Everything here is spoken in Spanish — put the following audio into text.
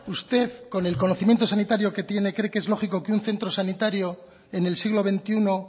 usted con el conocimiento sanitario que tiene cree que es lógico que un centro sanitario en el siglo veintiuno